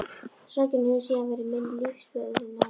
Sorgin hefur síðan verið minn lífsförunautur.